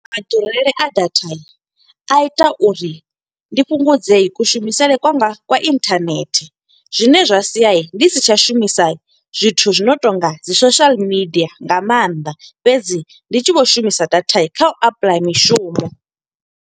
Maḓurele a data a ita uri ndi fhungudze kushumisele kwanga kwa internet. Zwine zwa sia ndi si tsha shumisa zwithu zwi no to nga dzi social media nga maanḓa, fhedzi ndi tshi vho shumisa data kha u apply mishumo.